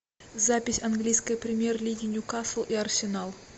запись английской премьер лиги ньюкасл и арсенал